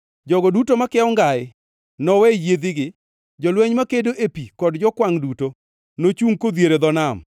Jogo duto makiewo ngai nowe yiedhigi; Jolweny makedo e pi kod jokwangʼ duto nochungʼ kodhier e dho nam.